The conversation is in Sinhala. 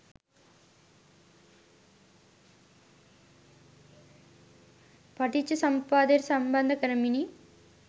පටිච්චසමුප්පාදයට සම්බන්ධ කරමිනි.